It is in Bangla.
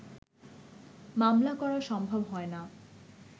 মামলা করা সম্ভব হয়না